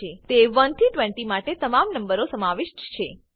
તે 1 થી 20 માટે તમામ નંબરો સમાવિષ્ટ છે